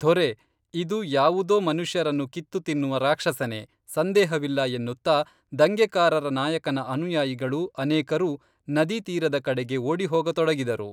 ಧೊರೇ ಇದು ಯಾವುದೋ ಮನುಷ್ಯರನ್ನು ಕಿತ್ತು ತಿನ್ನುವ ರಾಕ್ಷಸನೇ, ಸಂದೇಹವಿಲ್ಲ ಎನ್ನುತ್ತಾ ದಂಗೆಕಾರರ ನಾಯಕನ ಅನುಯಾಯಿಗಳು ಅನೇಕರು ನದಿ ತೀರದ ಕಡೆಗೆ ಓಡಿಹೋಗ ತೊಡಗಿದರು